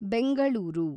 Bengaluru